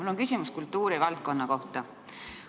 Mul on küsimus kultuuri valdkonna kohta.